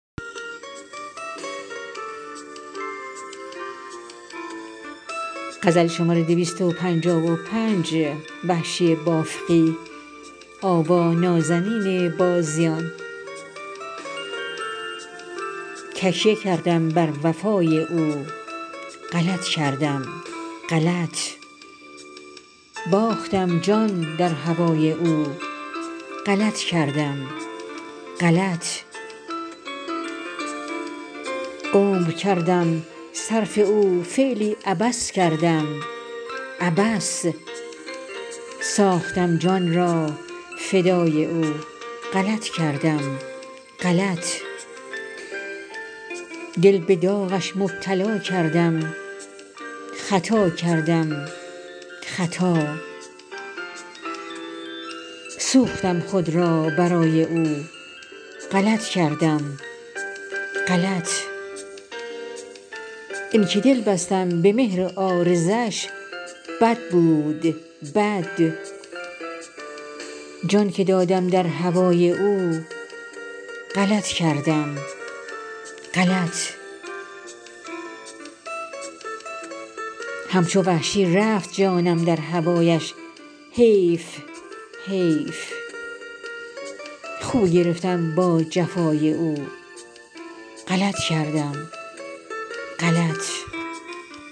تکیه کردم بر وفای او غلط کردم غلط باختم جان در هوای او غلط کردم غلط عمر کردم صرف او فعلی عبث کردم عبث ساختم جان را فدای او غلط کردم غلط دل به داغش مبتلا کردم خطا کردم خطا سوختم خود را برای او غلط کردم غلط اینکه دل بستم به مهر عارضش بد بود بد جان که دادم در هوای او غلط کردم غلط همچو وحشی رفت جانم در هوایش حیف حیف خو گرفتم با جفای او غلط کردم غلط